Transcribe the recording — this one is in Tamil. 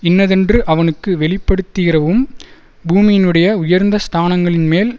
இன்னதென்று அவனுக்கு வெளிப்படுத்திறவும் பூமியினுடைய உயர்ந்த ஸ்தானங்களின்மேல்